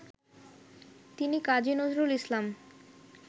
তিনি কাজী নজরুল ইসলাম